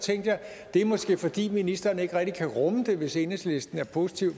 tænkte jeg det er måske fordi ministeren ikke rigtig kan rumme det hvis enhedslisten er positive